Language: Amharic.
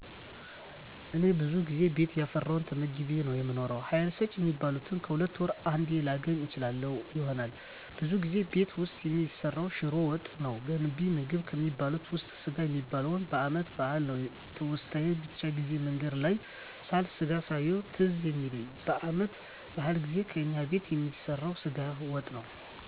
እኔ ብዙ ጊዜ ቤት ያፈራዉን ተመግቤ ነዉ የምኖረዉ ሀይል ሰጭ የሚባሉትን ከሁለት ወር አንዴ ላገኝ እችል ይሆናል ብዙ ጊዜ ቤት ዉስጥ የሚሰራዉ ሽሮ ወጥ ነዉ ገንቢ ምግብ ከሚባሉት ዉስጥ ስጋ የሚበላዉ በአመት በአል ነዉ ትዉስታየ ብዙ ጊዜ መንገድ ላይ ሳልፍ ስጋ ሳየዉ ትዝ የሚለኝ በአመት በአል ጊዜ ከእኛ ቤት የሚሰራዉ ስጋ ወጥ ነዉ